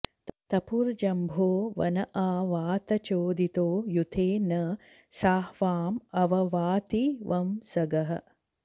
तपुर्जम्भो वन आ वातचोदितो यूथे न साह्वाँ अव वाति वंसगः